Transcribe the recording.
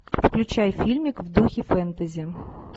включай фильмик в духе фэнтези